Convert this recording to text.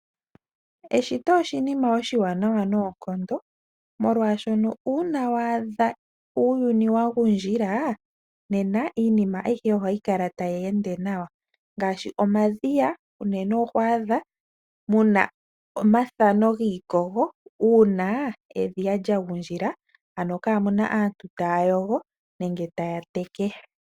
Eshito oshinima oshiwanawa noonkondo, molwashoka uuna wa adha uuyuni wa gundjila, nena, iinima ayihe ohayi kala tayi ende nawa. Uuna iinima ngaashi omadhiya uuna ga gundjila, ano kaamu na aantu taya yogo nenge taya teke, kombanda yago oto vulu okumona ko iikogo ya talama.